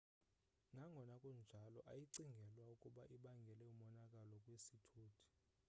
nangona kunjalo ayicingelwa ukuba ibangele monakalo kwisithuthi